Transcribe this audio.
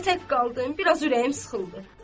Elə tək qaldım, biraz ürəyim sıxıldı.